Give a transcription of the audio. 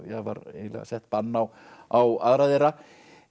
var eiginlega sett bann á á aðra þeirra